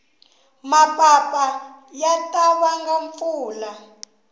mapapa ya ta vanga mpfula